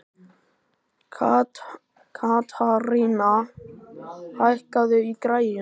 Katharina, hækkaðu í græjunum.